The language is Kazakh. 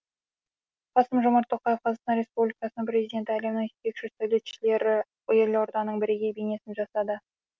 қасым жомарт тоқаев қазақстан республикасының президенті әлемнің жетекші сәулетшілері елорданың бірегей бейнесін жасады